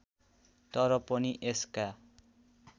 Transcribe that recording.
तर पनि यसका